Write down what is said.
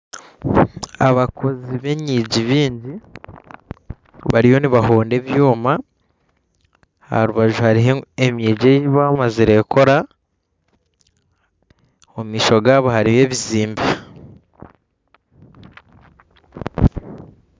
Abakozi benyigi bingi bariyo nibahoonda ebyoma aharubaju hariho emyigi eyibamazire kukora omumaisho gaabo hariyo ebizimbe